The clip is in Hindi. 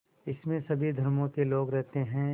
इसमें सभी धर्मों के लोग रहते हैं